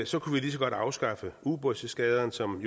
så kunne vi lige så godt afskaffe ubådseskadrerne som